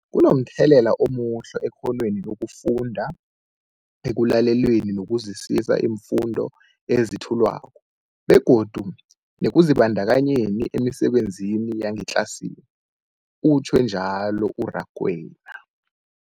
Kunomthelela omuhle ekghonweni lokufunda, ekulaleleni nokuzwisiswa iimfundo ezethulwako begodu nekuzibandakanyeni emisebenzini yangetlasini, utjhwe njalo u-Rakwena.